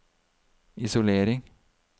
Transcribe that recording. isolering